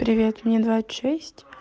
привет мне двадцать шесть